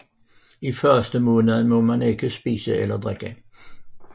I løbet af fastemåneden må man ikke spise eller drikke